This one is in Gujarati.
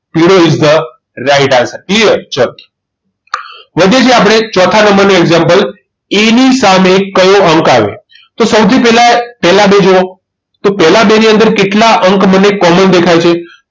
પીળો is the right answer clear ચલો હવે આપણે ચોથા નંબરનું example એની સામે કયો અંક આવે તો સૌથી પહેલા પહેલા તો જુઓ પહેલા બે ની અંદર કેટલા અંક મને common દેખાય છે